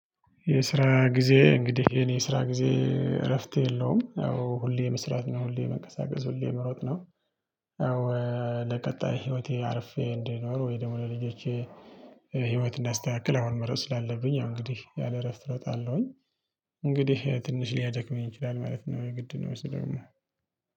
የስራ ጊዜ እንግዲህ የኔ የስራ ጊዜ እረፍት የለውም ያው ሁሌ መስራት ነው ሁሌ መንቀሳቀስ ሁሌ መሮጥ ነው። ያው ለቀጣይ ህይወቴ አርፌ እንዲኖር ወይ ደግሞ ለልጆቼ። ህይወት እንዳስተካክለው አሁን መሮጥ ስላለብኝ ያው እንግዲህ ያለ እረፍት እሮጣለሁኝ። እንግዲህ ትንሽ ሊያደክመኝ ይችላል ማለት ነው የግድ ነው እሱደሞ